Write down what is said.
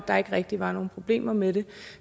der ikke rigtig var nogen problemer med det